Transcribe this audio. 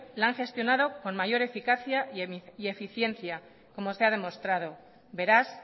la han gestionado con mayor eficacia y eficiencia como se ha demostrado beraz